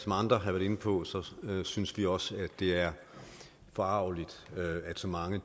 andre har været inde på synes vi også at det er forargeligt at så mange